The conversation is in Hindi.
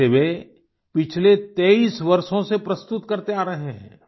इसे वे पिछले 23 वर्षों से प्रस्तुत करते आ रहे हैं